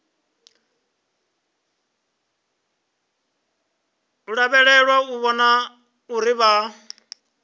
lavhelelwa u vhona uri vha